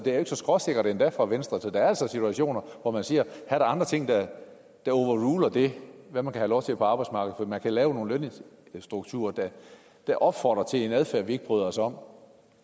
så skråsikkert endda for venstre så der er altså situationer hvor der er andre ting der overruler det man kan have lov til på arbejdsmarkedet for man kan lave nogle lønstrukturer der opfordrer til en adfærd vi ikke bryder os om